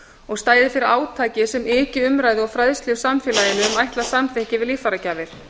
og stæði fyrir átaki sem yki umræðu og fræðslu í samfélaginu um ætlað samþykki við líffæragjafir